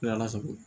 ala sago